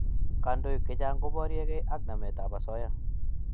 Kandoik chechang" ko barieg'ei ak namet ab asoya